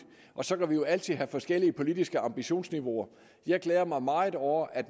så kan vi jo altid have forskellige politiske ambitionsniveauer jeg glæder mig meget over at